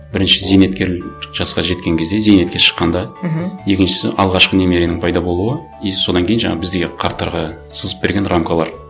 бірінші зейнеткер жасқа жеткен кезде зейнетке шыққанда мхм екіншісі алғашқы немеренің пайда болуы и содан кейін жаңа біздегі қарттарға сызып берген рамкалар